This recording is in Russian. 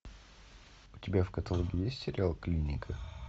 у тебя в каталоге есть сериал клиника